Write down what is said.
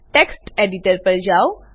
text editor પર જાઓ